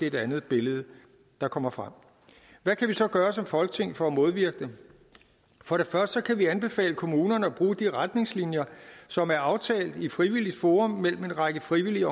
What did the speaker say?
et andet billede der kommer frem hvad kan vi så gøre som folketing for at modvirke det for det første kan vi anbefale kommunerne at bruge de retningslinjer som er aftalt i frivilligt forum mellem en række frivillige